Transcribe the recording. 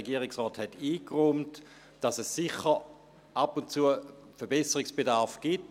Der Regierungsrat hat eingeräumt, dass es sicher ab und zu Verbesserungsbedarf gibt.